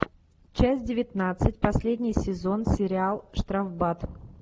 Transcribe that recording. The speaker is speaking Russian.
часть девятнадцать последний сезон сериал штрафбат